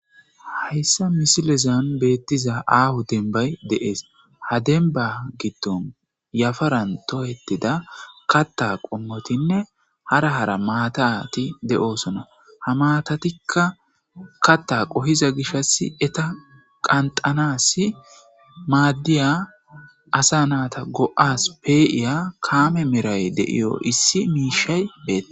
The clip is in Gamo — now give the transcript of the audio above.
Hayssa misilezan beettiza aahu denbay de,es ha denba giddon yafaran toyettida katta qommotinne hara hara maatati de,osona ha maatatikka katta qohiza gishass eta qanxanas maaddiya asa naata go7as pee7iya kaame meray deiyo issi miishay betti.